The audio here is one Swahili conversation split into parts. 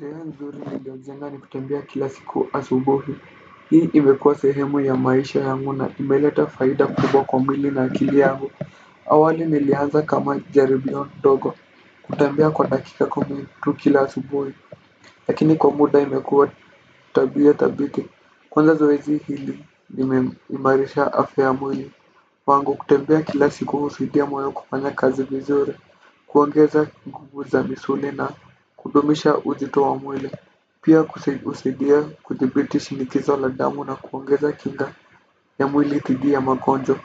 Zoea nzuri niliojenga ni kutembea kila siku asubuhi, hii imekua sehemu ya maisha yangu na, imeleta faida kubwa kwa mwili na akili yangu. Awali nilianza kama jaribio ndogo, kutembea kwa dakika kumi tu kila asubuhi, lakini kwa muda imekua tabia tabiti, kwanza zoezi hili limeimarisha afya ya mwili. Kwangu kutembea kila siku usaidia moyo kufanya kazi vizuri. Kuongeza nguvu za misuli na kudumisha uzito wa mwili. Pia husidia kuthibiti shinikizo la damu na kuongeza kinga ya mwili tidi ya magonjwa.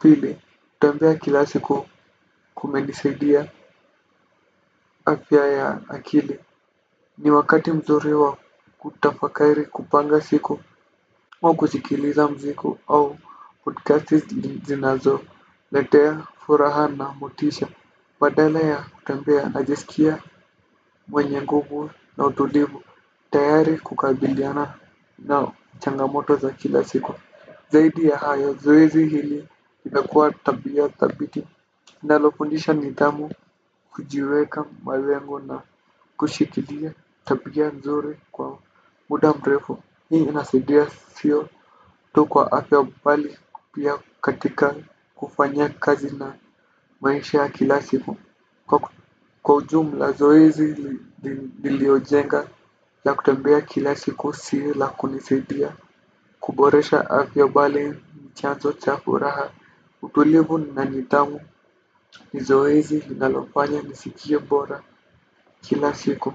Pili, kutembea kila siku kumenisidia afya ya akili. Ni wakati mzuri wa kutafakairi kupanga siku ama kusikiliza mziku au podcast zinazoletea furaha na motisha. Badala ya kutembea ajisikia mwenye nguvu na utulivu. Tayari kukabiliana na changamoto za kila siku. Zaidi ya hayo, zoezi hili imekuwa tabia thabiti inalofundisha nithamu, kujiweka malengo na kushikilia tabia nzuri kwa muda mrefu. Hii inasidia sio tu kwa afya bali pia katika kufanya kazi na maisha ya kila siku. Kwa ujumula zoezi niliojenga la kutembea kila siku sio la kunisidia kuboresha afya bali ni chanzo cha furaha utulivu na nidhamu. Ni zoezi linalofanya nisikie bora kila siku.